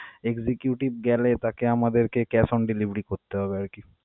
executive গেলে তাকে আমাদেরকে cash on delivery করতে হবে আর কি.